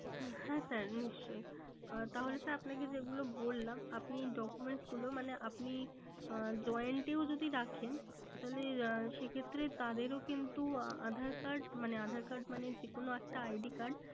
হ্যাঁ sir নিশ্চই। আহ তাহলে sir আপনাকে যেগুলো বললাম আপনি documents গুলো মানে আপনি আহ joined এও যদি রাখেন তাহলে আহ সে ক্ষেত্রে তাদেরও কিন্তু আহ aadhaar card মানে aadhaar card মানে যে কোনো একটা ID card